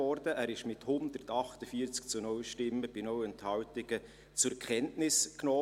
Dieser wurde mit 148 zu 0 Stimmen bei 0 Enthaltungen zur Kenntnis genommen.